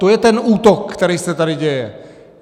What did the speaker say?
To je ten útok, který se tady děje.